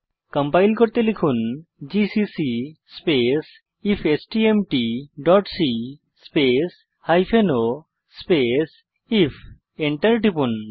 compile করতে লিখুন GCC space ifstmt dot c space hyphen o space if এবং Enter টিপুন